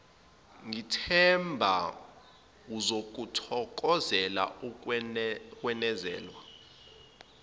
ngithemba uzokuthokozela ukwenezelwa